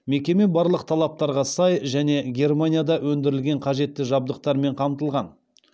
мекеме барлық талаптарға сай және германияда өндірілген қажетті жабдықтармен қамтылған